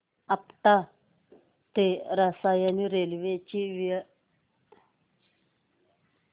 आपटा ते रसायनी रेल्वे ची वेळ